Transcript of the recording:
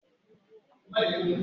Ọgbà ibí seré náà dára púpọ̀